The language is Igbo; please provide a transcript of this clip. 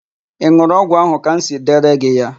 Ị n̄ụrụ ọgwụ ahụ ka m siri dere gị ya?